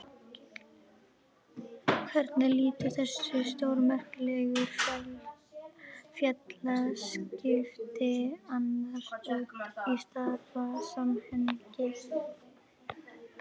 Hvernig líta þessi stórmerkilegu félagsskipti annars út í stærra samhengi?